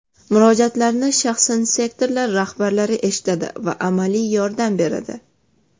Murojaatlarni shaxsan sektorlar rahbarlari eshitadi va amaliy yordam beradi.